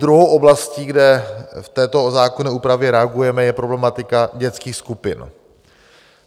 Druhou oblastí, kde v této zákonné úpravě reagujeme, je problematika dětských skupin.